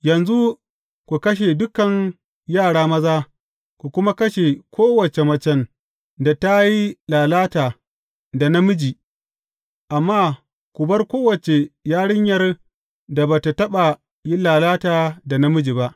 Yanzu ku kashe dukan yara maza, ku kuma kashe kowace macen da ta yi lalata da namiji, amma ku bar kowace yarinyar da ba tă taɓa yin lalata da namiji ba.